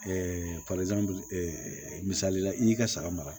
misali la i y'i ka saga mara